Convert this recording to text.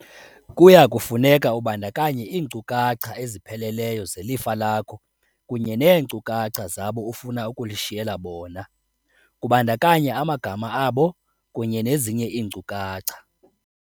Kuya kufuneka ubandakanye iinkcukacha ezipheleleyo zelifa lakho kunye neenkcukacha zabo ufuna ukulishiyela bona, kubandakanya amagama abo kunye nezinye iinkcukacha.